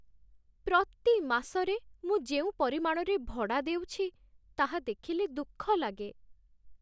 ପ୍ରତି ମାସରେ ମୁଁ ଯେଉଁ ପରିମାଣରେ ଭଡ଼ା ଦେଉଛି ତାହା ଦେଖିଲେ ଦୁଃଖ ଲାଗେ।